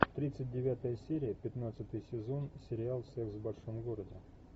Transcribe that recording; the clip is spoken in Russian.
тридцать девятая серия пятнадцатый сезон сериал секс в большом городе